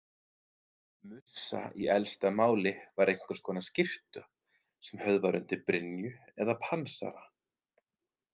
Mussa í elsta máli var einhvers konar skyrtu sem höfð var undir brynju eða pansara.